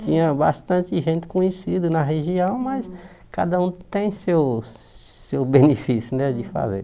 Tinha bastante gente conhecida na região, mas cada um tem seu seu benefício né de fazer.